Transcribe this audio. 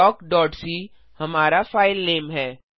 talkसी हमारा फाइलनेम है